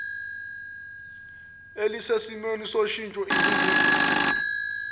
elisesimweni soshintsho iningizimu